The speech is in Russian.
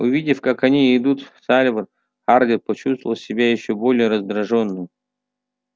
увидев как они идут сальвор хардин почувствовал себя ещё более раздражённым